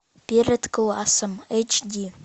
перед классом эйч ди